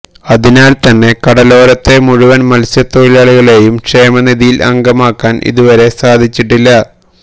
അതിനാല് തന്നെ കടലോരത്തെ മുഴുവന് മത്സ്യത്തൊഴിലാളികളെയും ക്ഷേമനിധിയില് അംഗമാക്കാന് ഇതുവരെ സാധ്യമായിട്ടില്ല